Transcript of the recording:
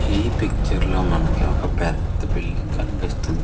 ఈ పిక్చర్ లో మనకి పెద్ద బిల్డింగ్ కనిపిస్తుంది.